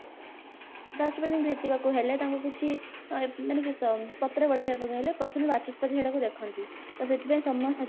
ରାଷ୍ଟ୍ରପତିଙ୍କୁ ଭେଟିବାକୁ ହେଲେ ତାଙ୍କୁ କିଛି ଏ ମାନେ କିସ ପତ୍ର ବଢେଇବା ପାଇଁ ହେଲେ ପ୍ରଥମେ ବାଚସ୍ପତି ସେଟାକୁ ଦେଖନ୍ତି ତ ସେଥିପାଇଁ ସମସ୍ତ